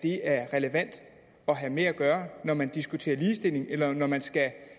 er relevant at have med at gøre når man diskuterer ligestilling eller når man skal have